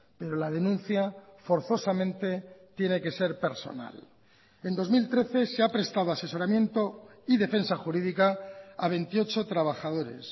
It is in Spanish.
pero la denuncia forzosamente tiene que ser personal en dos mil trece se ha prestado asesoramiento y defensa jurídica a veintiocho trabajadores